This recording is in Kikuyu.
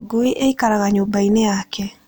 Ngui ĩikaraga nyũmba-inĩ yake.